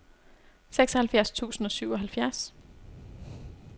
seksoghalvfjerds tusind og syvoghalvfjerds